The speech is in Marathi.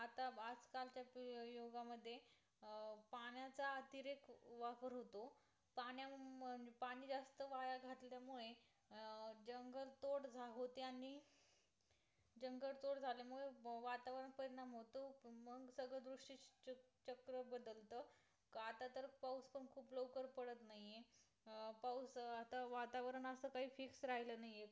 वतावर्णताच काही fix राहील नाही आहे